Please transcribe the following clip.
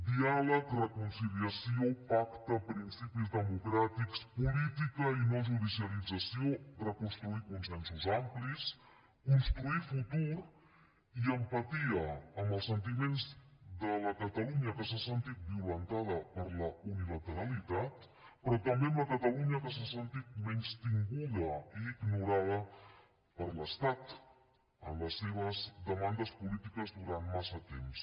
diàleg reconciliació pacte principis democràtics política i no judicialització reconstruir consensos amplis construir futur i empatia amb els sentiments de la catalunya que s’ha sentit violentada per la unilateralitat però també amb la catalunya que s’ha sentit menystinguda i ignorada per l’estat en les seves demandes polítiques durant massa temps